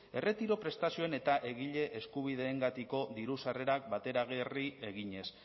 erretiro prestazioen eta egile eskubideengatiko diru sarrerak bateragarri eginez